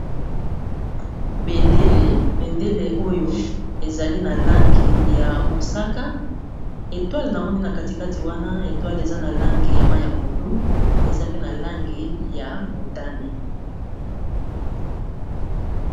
Bendele oyo ezali na langi ya mosaka etoile na moni na kati kati wana etoile eza na langi ya mayi ya pondu, eza pe na langi ya motane.